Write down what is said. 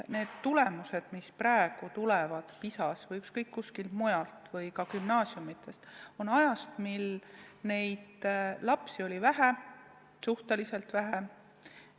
Need tulemused, mis praegu on avaldatud PISA testi kohta või tulevad meie gümnaasiumidest, on ajast, mil neid lapsi oli suhteliselt vähe.